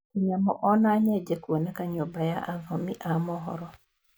Tũnyamũ ona nyenje kũoneka nyũmba ya athomi a mohoro.